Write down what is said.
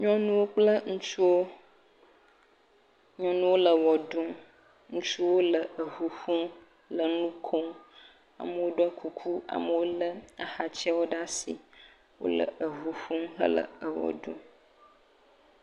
Nyɔnuwo kple ŋutsuwo, nyɔnuwo le wɔ ɖum, ŋutsuwo le eŋu ƒom le nu kom, amewo ɖɔ kuku, amewo lé axatsɛwo ɖe asi, wole eŋu ƒom hele ewɔ ɖum.